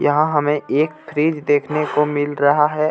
यहां हमें एक फ्रिज देखने को मिल रहा है.